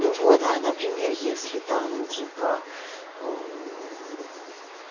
ну вот а например если там типа